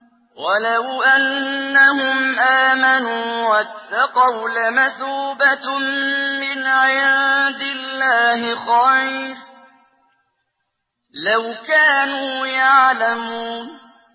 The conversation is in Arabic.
وَلَوْ أَنَّهُمْ آمَنُوا وَاتَّقَوْا لَمَثُوبَةٌ مِّنْ عِندِ اللَّهِ خَيْرٌ ۖ لَّوْ كَانُوا يَعْلَمُونَ